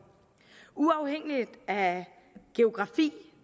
uafhængigt af geografi